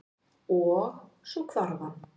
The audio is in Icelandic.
Og- svo hvarf hann.